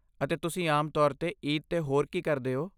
ਅਤੇ ਤੁਸੀਂ ਆਮ ਤੌਰ 'ਤੇ ਈਦ 'ਤੇ ਹੋਰ ਕੀ ਕਰਦੇ ਹੋ?